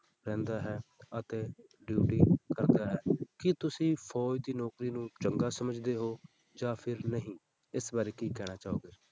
ਰਹਿੰਦਾ ਹੈ ਅਤੇ duty ਕਰਦਾ ਹੈ, ਕੀ ਤੁਸੀਂ ਫ਼ੌਜ ਦੀ ਨੌਕਰੀ ਨੂੰ ਚੰਗਾ ਸਮਝਦੇ ਹੋ, ਜਾਂ ਫਿਰ ਨਹੀਂ, ਇਸ ਬਾਰੇ ਕੀ ਕਹਿਣਾ ਚਾਹੋਗੇ।